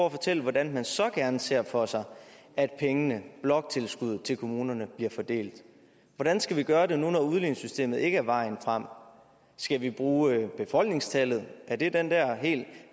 at fortælle hvordan man så gerne ser for sig at pengene bloktilskuddet til kommunerne bliver fordelt hvordan skal vi gøre det når udligningssystemet ikke er vejen frem skal vi bruge befolkningstallet er det den der helt